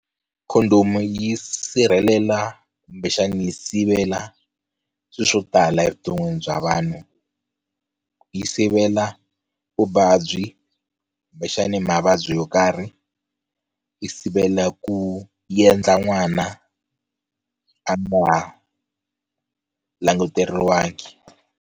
Condom yi sirhelela kumbexani yi sivela swilo swo tala evuton'wini bya vanhu, yi sivela vuvabyi kumbexani mavabyi yo karhi yi sivela ku yi endla n'wana a nga languteriwangi.